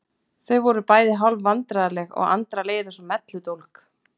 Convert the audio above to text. Þau voru bæði hálf vandræðaleg og Andra leið eins og melludólg.